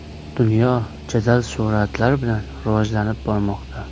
Dunyo jadal sur’atlar bilan rivojlanib bormoqda.